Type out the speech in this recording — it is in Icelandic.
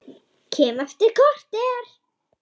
Kem eftir korter!